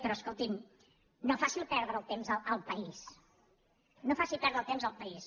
però escolti’m no faci perdre el temps al país no faci perdre el temps al país